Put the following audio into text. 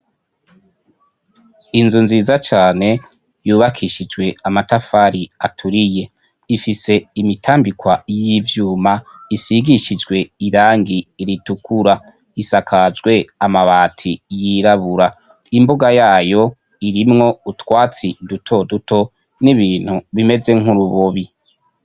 Inzu nziza cane yubakishijwe amatafari aturiye. Ifise imitambikwa y'ivyuma isigishijwe irangi ritukura, isakajwe amabati yirabura. Imbuga yayo irimwo utwatsi duto duto nibintu bimeze nk'urubobi.